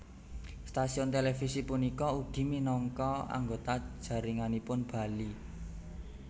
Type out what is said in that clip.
Stasiun televisi punika inggih ugi minangka anggota jaringanipun Bali